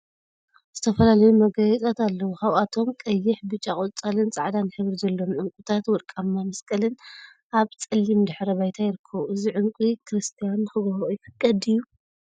ዝተፈላለዩ መጋየፂታት አለው፡፡ ካብአቶም ቀይሕ፣ ብጫ፣ ቆፃልን ፃዕዳን ሕብሪ ዘለዎም ዕንቍታትን ወርቃማ መስቀልን አብ ፀሊም ድሕረ ባይታ ይርከቡ፡፡ እዚ ዕንቍ ክርስትያን ንክገብርኦ ይፍቀድ ድዩ?